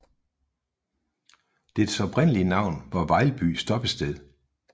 Dets oprindelige navn var Vejlby Stoppested